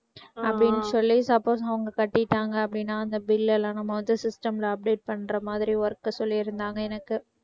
அப்படின்னு சொல்லி suppose அவங்க கட்டிட்டாங்க அப்படின்னா அந்த bill எல்லாம் நம்ம வந்து system ல update பண்ற மாதிரி work சொல்லியிருந்தாங்க எனக்கு